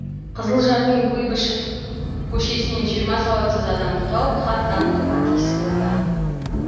қызылжардың куйбышев көшесінен жиырма сауатсыз адамды тауып хат танытуға тиіс болды